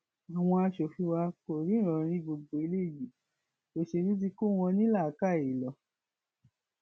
àwọn aṣòfin wa kò ríran rí gbogbo eléyìí òṣèlú tí kò wọn ní làákàyè lọ